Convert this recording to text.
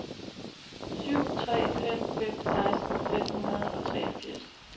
syv tre fem fem seksten fem hundrede og treogfirs